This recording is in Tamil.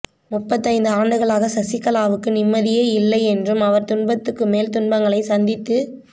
முப்பத்து ஐந்து ஆண்டுகளாக சசிகலாவுக்கு நிம்மதியே இல்லை என்றும் அவர் துன்பத்துக்குமேல் துன்பங்களை சந்தித்து